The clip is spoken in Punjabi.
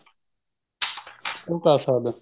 ਉਹ ਕਰ ਸਕਦਾ